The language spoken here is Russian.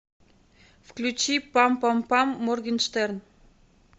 включи пам пам пам моргенштерн